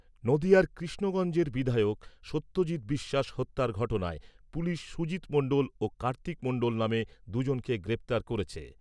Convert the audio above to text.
নদীয়ার কৃষ্ণগঞ্জের বিধায়ক সত্যজিত বিশ্বাস হত্যার ঘটনায় পুলিশ সুজিত মন্ডল ও কার্তিক মন্ডল নামে দুজনকে গ্রেপ্তার করেছে।